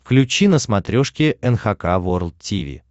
включи на смотрешке эн эйч кей волд ти ви